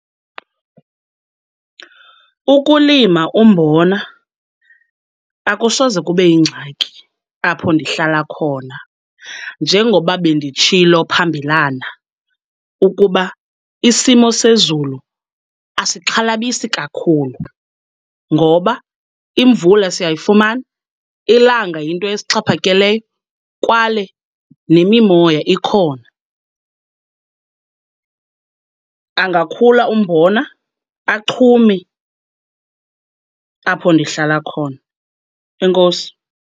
Ukulima umbona akusoze kube yingxaki apho ndihlala khona. Njengoba benditshilo phambilana ukuba isimo sezulu asixhalabisi kakhulu ngoba imvula siyayifumana, ilanga yinto esixhaphakeleyo kwaye nemimoya ikhona. Angakhula umbona, achume apho ndihlala khona. Enkosi.